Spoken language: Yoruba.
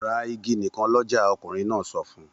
Ra igi nìkan lọ́jà! Ọkùnrin náà sọ fún un.